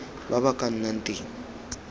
ba ba ka nnang teng